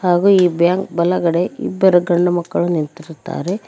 ಹಾಗು ಈ ಬ್ಯಾಂಕ್ ಬಲಗಡೆ ಇಬ್ಬರು ಗಂಡು ಮಕ್ಕಳು ನಿಂತಿರುತ್ತಾರೆ.